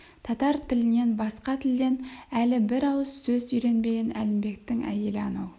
татар тілінен басқа тілден әлі бір ауыз сөз үйренбеген әлімбектің әйелі анау